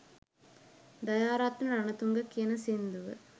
දයාරත්න රනතුංග කියන සිංදුව